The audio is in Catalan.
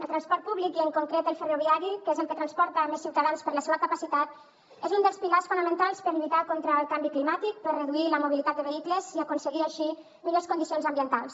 el transport públic i en concret el ferroviari que és el que transporta més ciutadans per la seua capacitat és un dels pilars fonamentals per lluitar contra el canvi climàtic per reduir la mobilitat de vehicles i aconseguir així millors condicions ambientals